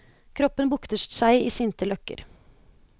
Kroppen bukter seg i sinte løkker.